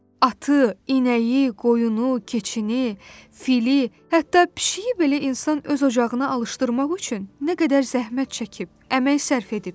Atı, inəyi, qoyunu, keçini, fili, hətta pişiyi belə insan öz ocağına alışdırmaq üçün nə qədər zəhmət çəkib, əmək sərf edib.